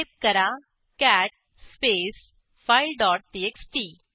type करा cat space file dot TXT